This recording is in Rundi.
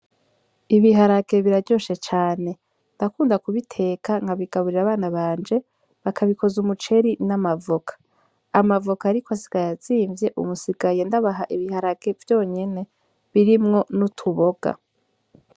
Ibiharake biraryoshe cane ndakunda kubiteka nkabigaburira abana banje bakabikoza umuceri n'amavoka amavoka, ariko asiga yazimvye umusigaye ndabaha ibiharake vyonyene birimwo ni'utuboga.